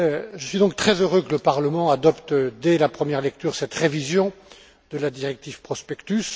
Je suis donc très heureux que le Parlement adopte, dès la première lecture, cette révision de la directive sur le prospectus.